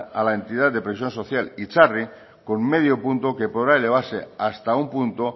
a la entidad de previsión social itzarri con medio punto que podrá elevarse hasta un punto